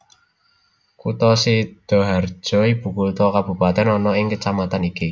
Kutha Sidaharja ibukutha Kabupaten ana ing kecamatan iki